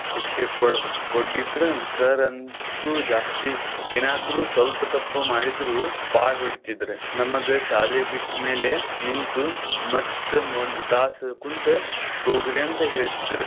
ಶಿಕ್ಷೆ ಕೊಡ್~ ಕೊಡ್ದಿದ್ರ sir ಅಂತೂ ಜಾಸ್ತಿ ಏನಾದ್ರೂ ಸ್ವಲ್ಪ್ ತಪ್ಪು ಮಾಡಿದ್ರು ಬಾಳ್ ಹೊಡಿತಿದ್ರು. ನಮಗ ಶಾಲೆ ಬಿಟ್ಟ ಮ್ಯಾಲೆ ನಿಂತು ಮತ್ತ್ ಒಂದ್ ತಾಸ್ ಕುಂತೆ ಹೋಗ್ರಿ ಅಂತ ಹೇಳ್ತಿದ್ರ್.